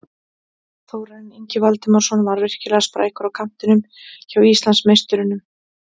Þórarinn Ingi Valdimarsson var virkilega sprækur á kantinum hjá Íslandsmeisturunum.